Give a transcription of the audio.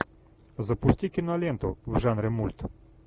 запусти киноленту в жанре мульт